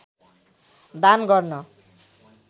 दान गर्न